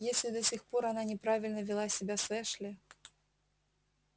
если до сих пор она неправильно вела себя с эшли